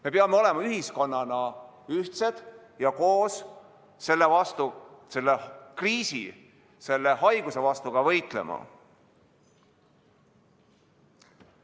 Me peame olema ühiskonnana ühtsed ja koos selle kriisi, selle haiguse vastu võitlema.